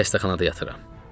Xəstəxanada yatıram.